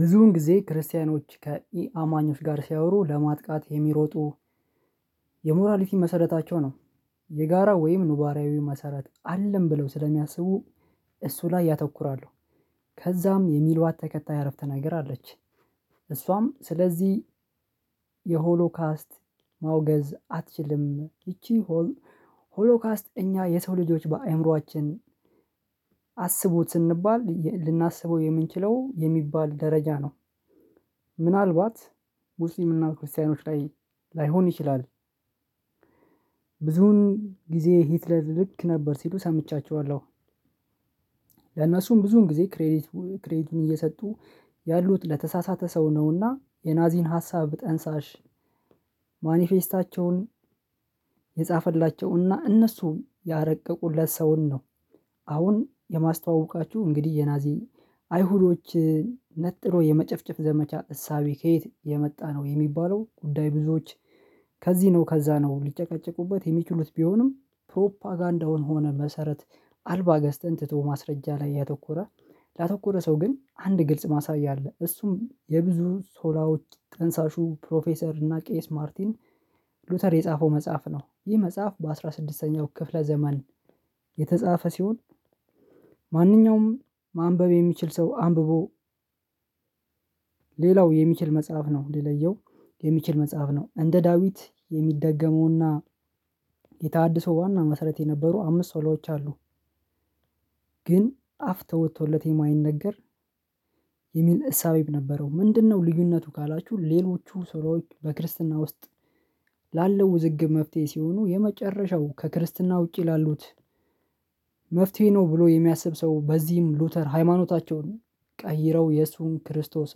ብዙውን ጊዜ ክርስቲያኖች ከኢ-አማኞች ጋር ሲያወሩ ለማጥቃት የሚሮጡ የሞራሊቲ መሰረታቸው ነው። የጋራ ወይም ኑባራዊ መሰረት አለን ብለው ስለሚያስቡ እሱ ላይ ያተኩራሉ። ከዛም የሚልዋት ተከታይ አረፍተ ነገር አለች። እሷም ስለዚህ የሆሎካስት ማውገዝ አትችልም ይቺ ሆሎካስት እኛ የሰው ልጆች በአእምሮአችን አስቡት ስንባል ልናስበው የምንችለው የሚባል ደረጃ ነው። ምናልባት ሙስሊም እና ክርስቲያኖች ላይ ላይሆን ይችላል። ብዙን ጊዜ ሂትለር ልክ ነበር ሲሉ ሰምቻቸዋለሁ። ለእነሱም ብዙን ጊዜ ክሬዲት ክሬዲቱን እየሰጡ ያሉት ለተሳሳተ ሰው ነውና የናዚን ሀሳብ ጠንሳሽ ማኒፌስታቸውን የጻፈላቸውና እነሱ ያረቀቁለት ሰውን ነው። አሁን የማስተዋውቃችሁ እንግዲህ የናዚ አይሁዶችን ነጥሮ የመጨፍጨፍ ዘመቻ እሳቤ ከየት የመጣ ነው የሚባለው ጉዳይ ብዙዎች ከዚህ ነው ከዛ ነው ሊጨቃጨቁበት የሚችሉት። ቢሆንም ፕሮፓጋንዳውን ሆነ መሰረት አልባ ገዝተን ትቶ ማስረጃ ላይ ያተኮረ ላተኮረ ሰው ግን አንድ ግልጽ ማሳያ አለ። እሱም የብዙ ሶላሮች ጠንሳሹ ፕሮፌሰር እና ቄስ ማርቲን ሉተር የጻፈው መጽሐፍ ነው። ይህ መጽሐፍ በአስራ ስድስተኛው ክፍለ ዘመን የተጻፈ ሲሆን። ማንኛውም ማንበብ የሚችል ሰው አንብቦ። ሌላው የሚችል መጽሐፍ ነው ሊለየው የሚችል መጽሐፍ ነው። እንደ ዳዊት የሚደገመውና የታህድሶ ዋና መሰረት የነበሩ አምስት ሶላዎች አሉ። ግን አፍ ተወቶለት የማይነገር የሚል እሳቤም ነበረው። ምንድነው? ልዩነቱ ካላችሁ ሌሎቹ ሶሎዎች በክርስትና ውስጥ ላለው ውዝግብ መፍትሄ ሲሆኑ የመጨረሻው ከክርስትና ውጪ ላሉት መፍትሄ ነው። ብሎ የሚያስብ ሰው በዚህም ሉተር ሃይማኖታቸውን ቀይረው የሱን ክርስቶስ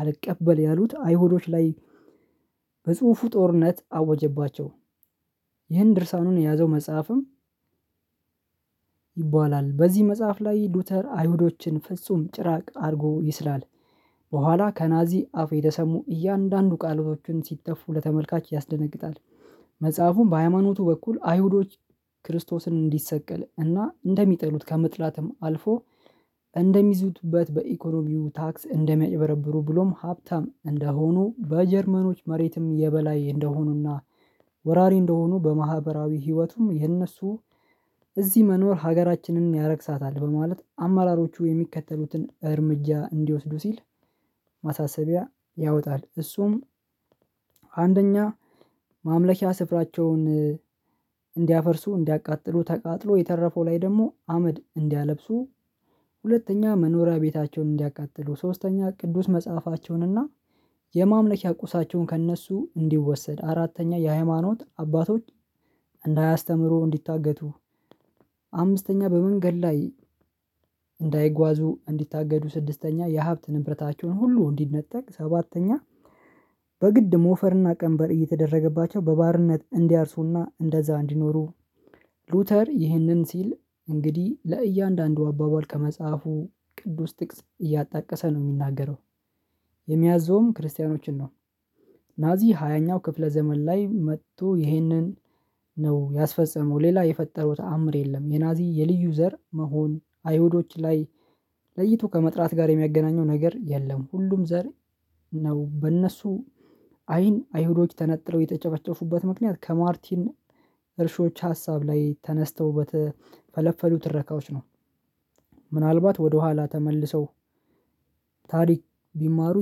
አልቀበል ያሉት አይሁዶች ላይ በጽሁፉ ጦርነት አወጀባቸው። ይህን ድርሳኑን የያዘው መጽሐፍም ይባላል በዚህ መጽሐፍ ላይ ሉተር አይሁዶችን ፍጹም ጭራቅ አድርጎ ይስላል። በኋላ ከናዚ አፉ የተሰሙ እያንዳንዱ ቃሎቹን ሲተፉ ለተመልካች ያስደነግጣል። መጽሐፉም በሃይማኖቱ በኩል አይሁዶች ክርስቶስን እንዲሰቀል እና እንደሚጠሉት ከመጥላትም አልፎ እንደሚዝቱበት በኢኮኖሚው ታክስ እንደሚያጭበረብሩ ብሎም ሀብታም እንደሆኑ በጀርመኖች መሬትም የበላይ እንደሆኑና ወራሪ እንደሆኑ በማህበራዊ ህይወቱም የእነሱ እዚህ መኖር ሀገራችንን ያረክሳታል በማለት አማራሮቹ የሚከተሉትን እርምጃ እንዲወስዱ ሲል ማሳሰቢያ ያወጣል። እሱም አንደኛ ማምለኪያ ስፍራቸውን እንዲያፈርሱ እንዲያቃጥሉ ተቃጥሎ የተረፈው ላይ ደግሞ አመድ እንዲያለብሱ ሁለተኛ መኖሪያ ቤታቸውን እንዲያቃጥሉ ሶስተኛ ቅዱስ መጽሐፋቸውን እና የማምለኪያ ቁሳቸውን ከእነሱ እንዲወሰድ አራተኛ የሃይማኖት አባቶች እንዳያስተምሩ እንዲታገቱ አምስተኛ በመንገድ ላይ እንዳይጓዙ እንዲታገዱ ስድስተኛ የሀብት ንብረታቸውን ሁሉ እንዲነጠቅ ሰባተኛ በግድ ሞፈርና ቀንበር እየተደረገባቸው በባርነት እንዲያርሱና እንደዛ እንዲኖሩ። ሉተር ይህንን ሲል እንግዲህ ለእያንዳንዱ አባባል ከመጽሐፉ ቅዱስ ጥቅስ እያጣቀሰ ነው የሚናገረው። የሚያዝዘውም ክርስቲያኖችን ነው። ናዚ ሃያኛው ክፍለ ዘመን ላይ መጥቶ ይሄንን ነው ያስፈጸመው ሌላ የፈጠረው ተአምር የለም። የናዚ የልዩ ዘር መሆን አይሁዶች ላይ ለይቶ ከመጥራት ጋር የሚያገናኘው ነገር የለም። ሁሉም ዘር ነው። በእነሱ አይን አይሁዶች ተነጥለው የተጨፈጨፉበት ምክንያት ከማርቲን እርሾች ሀሳብ ላይ ተነስተው በተፈለፈሉ ትረካዎች ነው። ምናልባት ወደኋላ ተመልሰው ታሪክ ቢማሩ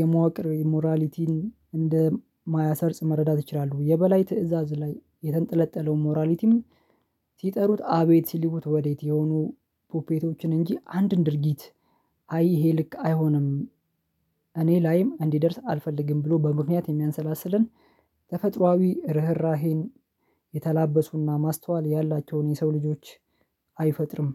የመዋቅር የሞራሊቲን እንደማያሰርጽ መረዳት ይችላሉ። የበላይ ትእዛዝ ላይ የተንጠለጠለው ሞራሊቲም ሲጠሩት አቤት ሲልኩት ወዴት የሆኑ ፑፔቶችን እንጂ አንድን ድርጊት አይ ይሄ ልክ አይሆንም። እኔ ላይም እንዲደርስ አልፈልግም ብሎ በምክንያት የሚያንሰላስለን ተፈጥሮአዊ ርህራሄን የተላበሱና ማስተዋል ያላቸውን የሰው ልጆች አይፈጥርም።